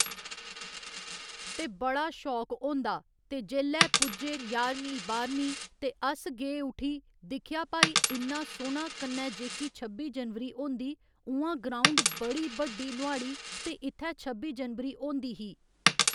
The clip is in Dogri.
ते बड़ा शौक होंदा ते जेल्लै पुज्जे ञारमीं बाह्‌रमीं ते अस गे उठी दिक्खेआ भाई इन्ना सोह्‌ना कन्नै जेह्की छब्बी जनबरी होंदी उ'आं ग्राउंड बड़ी बड्डी नुआढ़ी ते इत्थै छब्बी जनबरी होंदी ही